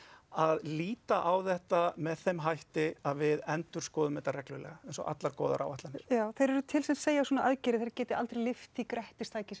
að líta á þetta með þeim hætti að við endurskoðum þetta reglulega eins og allar góðar áætlanir já þeir eru til sem segja að svona aðgerðir geti aldrei lyft því grettistaki sem